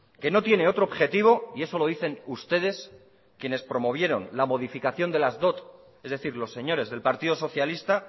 que no tiene otro objetivo y eso lo dicen ustedes quienes promovieron la modificación de las dot es decir los señores del partido socialista